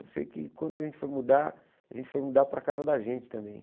Eu sei que quando a gente foi mudar, a gente foi mudar para casa da gente também.